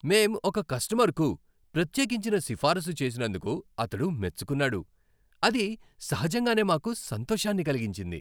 మేం ఒక కస్టమర్కు ప్రత్యేకించిన సిఫారసు చేసినందుకు అతడు మెచ్చుకున్నాడు, అది సహజంగానే మాకు సంతోషాన్ని కలిగించింది.